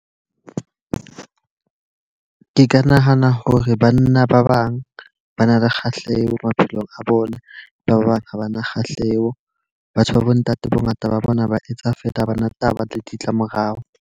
Ke nahana hore banna ba bang ba na le kgahleho maphelong a bona. Ba bang ha ba na kgahleho. Batho ba bo ntate bo ngata ba bona ba etsa feela, ha bana taba le ditlamorao.